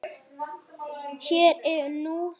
Hér og nú.